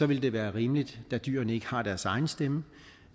vil det være rimeligt da dyrene ikke har deres egen stemme